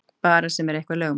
Bara sem er eitthvað lögmál.